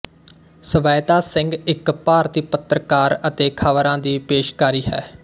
ਸਵੈਤਾ ਸਿੰਘ ਇੱਕ ਭਾਰਤੀ ਪੱਤਰਕਾਰ ਅਤੇ ਖ਼ਬਰਾਂ ਦੀ ਪੇਸ਼ਕਾਰੀ ਹੈ